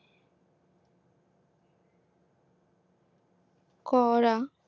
করা